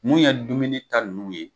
Mun ye dumuni ta n'u ye